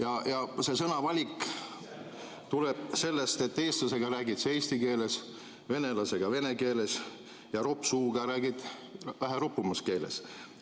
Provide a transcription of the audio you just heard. Aga see sõnavalik tuleb sellest, et eestlasega räägid sa eesti keeles, venelasega vene keeles ja roppsuuga räägid vähe ropumas keeles.